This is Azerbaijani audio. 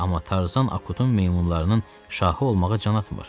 Amma Tarzan Akutun meymunlarının şahı olmağa can atmır.